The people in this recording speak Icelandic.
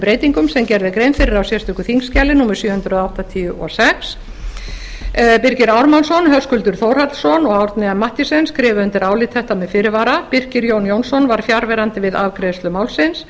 breytingum sem gerð er grein fyrir á sérstöku þingskjali númer sjö hundruð áttatíu og sex birgir ármannsson höskuldur þórhallsson og árni m mathiesen skrifa undir álit þetta með fyrirvara birkir jón jónsson var fjarverandi við afgreiðslu málsins